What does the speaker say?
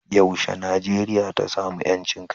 yaushe Najeriya ta samu 'yancin kai?